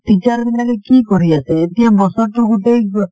teacher বিলাকে কি কৰি আছে , এতিয়া বছৰ টো গোটেই